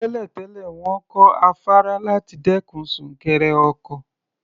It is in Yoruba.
Tẹ́lẹ̀ tẹ́lẹ̀, wọ́n kọ́ afárá láti dẹ́kun súnkẹrẹ ọkọ̀.